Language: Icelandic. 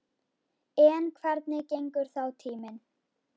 En hvernig gengur þá tíminn?